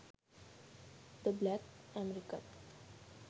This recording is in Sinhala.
the black american